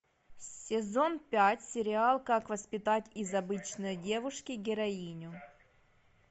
сезон пять сериал как воспитать из обычной девушки героиню